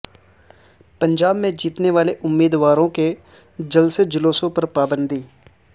پنجاب میں جیتنے والے امیدواروں کے جلسے جلوسوں پر پابندی